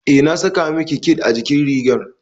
Eh, na saka miki bid a jikin rigar